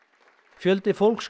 fjöldi fólks